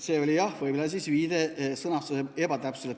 See oli jah võib-olla ebatäpse sõnastusega viide.